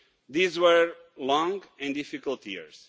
These were long and difficult years.